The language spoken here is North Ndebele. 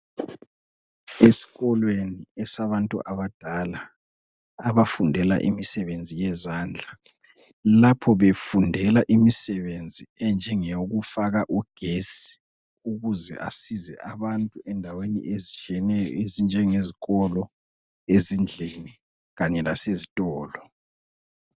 Esikolweni esabantu abadala, abafundela imisebenzi yezandla. Lapho befundela imisebenzi enjengeyokufaka ugesi, ukuze asize abantu endaweni ezitshiyeneyo, ezinjenge zikolo, ezindlini, kanye lasezitolo.